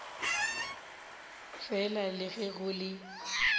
fela le ge go le